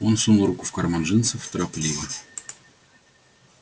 он сунул руку в карман джинсов торопливо